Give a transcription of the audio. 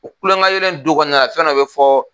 O kulon ka yɛlɛ in du kɔnɔna na fɛn dɔ bɛ fɔ